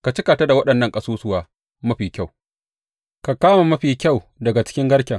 Ka cika ta da waɗannan ƙasusuwa mafi kyau; ka kama mafi kyau daga cikin garken.